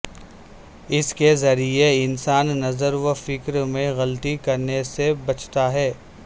اس کے ذریعے انسان نظر و فکر میں غلطی کرنے سے بچتا ہے